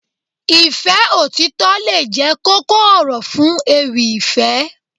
Ìfẹ́ òtítọ́ lè jẹ́ kókó ọ̀rọ̀ fún ewì ìfẹ́